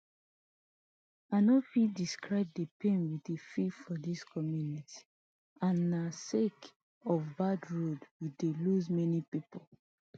i no fit describe di pain we dey feel for dis community and na sake of bad road we don lose many pipo